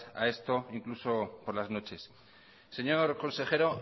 a esto incluso por las noches señor consejero